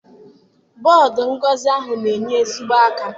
Bọdụ ngosi ahụ na-enye ezigbo aka.